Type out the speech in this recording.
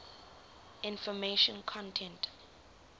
information content